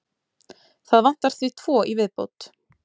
Það vantar því tvo í viðbót.